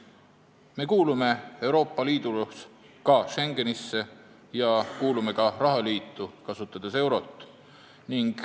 Me kuulume Euroopa Liidus ka Schengenisse ja kuulume ka rahaliitu, kasutades eurot.